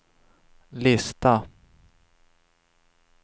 lista